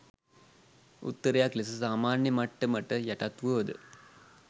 උත්තරයක් ලෙස සාමාන්‍ය මට්ටමට යටත්වුවද